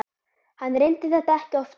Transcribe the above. Hann reyndi þetta ekki oftar.